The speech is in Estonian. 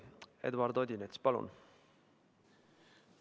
Eduard Odinets, palun!